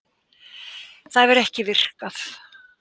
Það hefur ekki virkað